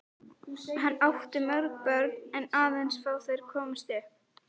Hann átti mörg börn en aðeins fá þeirra komust upp.